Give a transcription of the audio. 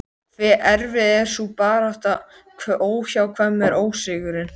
Björn: Sýnist þér sem hann hafi synt býsna langt?